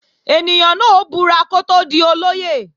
Ènìyàn náà ó búra kó tó di olóyè